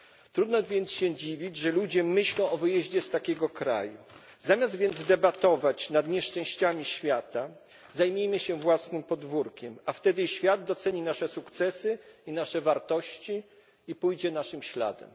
Trudno jest się więc dziwić, że ludzie myślą o wyjeździe z tego kraju. Zamiast więc debatować nad nieszczęściami świata zajmijmy się własnym podwórkiem, a wtedy świat doceni nasze sukcesy i nasze wartości, i pójdzie naszym śladem.